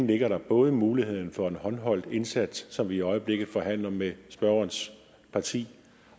ligger både muligheden for en håndholdt indsats som vi i øjeblikket forhandler om med spørgerens parti